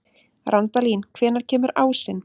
Randalín, hvenær kemur ásinn?